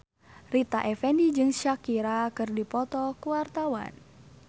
Rita Effendy jeung Shakira keur dipoto ku wartawan